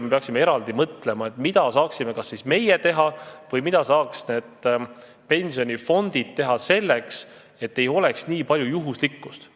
Me peaksime eraldi mõtlema sellele, mida saaksime kas meie teha või saaksid need pensionifondid teha selleks, et ei oleks nii palju juhuslikkust.